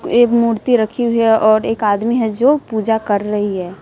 ये मूर्ति रखी हुई है और एक आदमी है जो पूजा कर रही है।